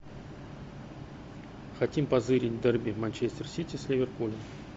хотим позырить дерби манчестер сити с ливерпулем